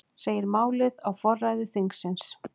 Segir málið á forræði þingsins